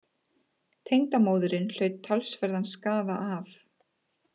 Tengdamóðirin hlaut talsverðan skaða af